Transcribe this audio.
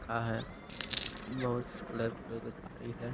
का है बहुत कलर कलर का साड़ी है।